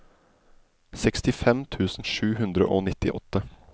sekstifem tusen sju hundre og nittiåtte